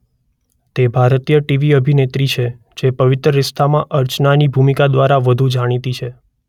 તે ભારતીય ટીવી અભિનેત્રી છે જે 'પવિત્ર રિશ્તા'માં અર્ચનાની ભૂમિકા દ્વારા વધુ જાણીતી છે.